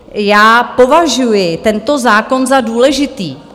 Já považuji tento zákon za důležitý.